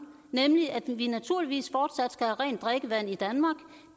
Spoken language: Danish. nemlig at vi naturligvis fortsat skal have rent drikkevand i danmark